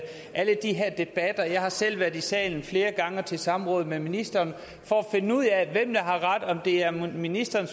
alle de her debatter jeg har selv været i salen flere gange og til samråd med ministeren for at finde ud af hvem der har ret altså om det er ministeren